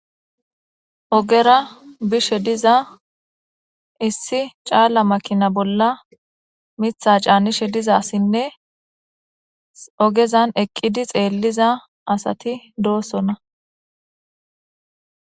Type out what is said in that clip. Ogera bishe diza issi caalla makina bolla mitha caanishe dizasinne ogezan eqqidi xeelliza asati doosona.